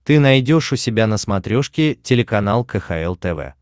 ты найдешь у себя на смотрешке телеканал кхл тв